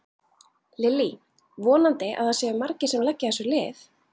Lillý: Vonandi að það séu margir sem leggja þessu lið?